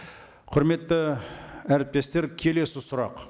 құрметті әріптестер келесі сұрақ